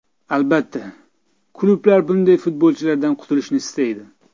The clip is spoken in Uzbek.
Albatta, klublar bunday futbolchilardan qutilishni istaydi.